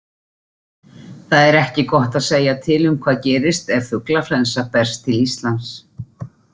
Það er ekki gott að segja til um hvað gerist ef fuglaflensa berst til Íslands.